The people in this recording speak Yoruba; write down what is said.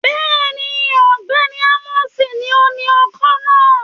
Bẹ́ẹ̀ni, Ọgbẹni Amosi ni oni ọ́kọ náa